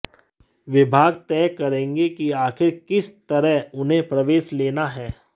विभाग तय करेंगे कि आखिर किस तरह उन्हें प्रवेश लेना है